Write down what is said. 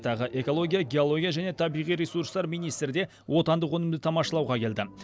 тағы экология геология және табиғи ресурстар министрі де отандық өнімді тамашалауға келді